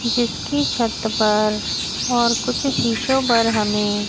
जिसकी छत पर और कुछ शीशो पर हमें--